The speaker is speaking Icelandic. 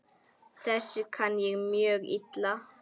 Þessu kann ég mjög illa.